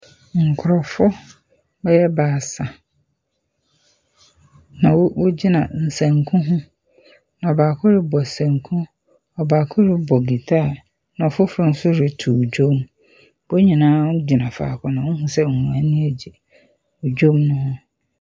Nkorɔfo bɛyɛ baasa na wo wogyina nsanku ho na baako robɔ sanku, na baako robɔ guitar na fofor so rotow ndwom. Hɔn nyina gyina fako na wohu se wɔn ani agye ndwom ne ho.